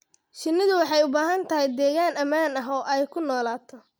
Shinnidu waxay u baahan tahay deegaan ammaan ah oo ay ku noolaato.